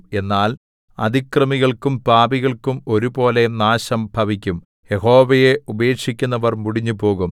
എന്നാൽ അതിക്രമികൾക്കും പാപികൾക്കും ഒരുപോലെ നാശം ഭവിക്കും യഹോവയെ ഉപേക്ഷിക്കുന്നവർ മുടിഞ്ഞുപോകും